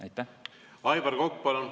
Aivar Kokk, palun!